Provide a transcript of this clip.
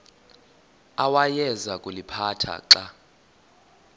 awayeza kuliphatha xa